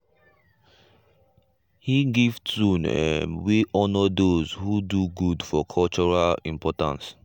he give tune um wey honour those who do good for cultural importance.